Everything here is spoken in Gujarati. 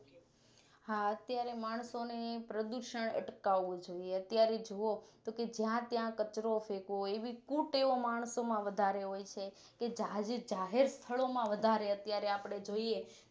હા અત્યારે માણસોને પ્રદુષણ અટકાવું જોઈએ અત્યારે જોવો તો જ્યાં ત્યાં કચરો ફેકવો એવી કુટેવો માણસો માં વધારે હોય છે કે જાહેર સ્થળો માં વધારે અત્યારે જોઈએ